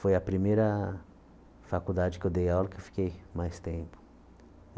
Foi a primeira faculdade que eu dei aula que eu fiquei mais tempo.